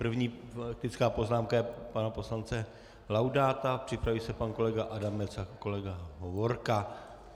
První faktická poznámka je pana poslance Laudáta, připraví se pan kolega Adamec a kolega Hovorka.